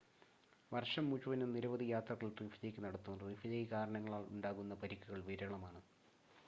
വർഷം മുഴുവനും നിരവധി യാത്രകൾ റീഫിലേക്ക് നടത്തുന്നു, റീഫിലെ ഈ കാരണങ്ങളാൽ ഉണ്ടാകുന്ന പരിക്കുകൾ വിരളമാണ്